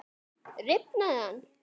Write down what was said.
Rifnaði hann?